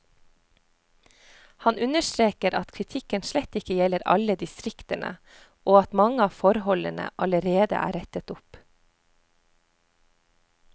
Han understreker at kritikken slett ikke gjelder alle distriktene, og at mange av forholdene allerede er rettet opp.